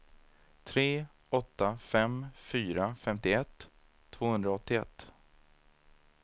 tre åtta fem fyra femtioett tvåhundraåttioett